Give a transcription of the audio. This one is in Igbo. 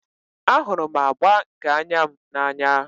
Ahụrụ m agba nke anya m n'anya